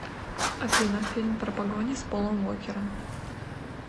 афина фильм про погони с полом уокером